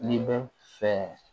N'i bɛ fɛ